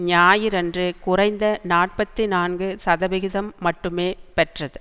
ஞாயிறன்று குறைந்த நாற்பத்தி நான்கு சதவிகிதம் மட்டுமே பெற்றது